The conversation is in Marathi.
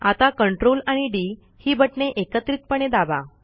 आता CTRL आणि डी ही बटणे एकत्रितपणे दाबा